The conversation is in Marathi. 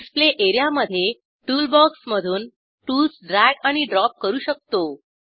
डिस्प्ले एरियामधे टूलबॉक्समधून टूल्स ड्रॅग आणि ड्रॉप करू शकतो